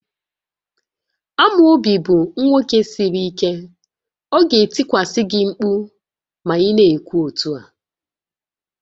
Amobi bụ nwoke siri ike, ọ ga-etikwasị gị mkpu ma ị na-ekwu otu a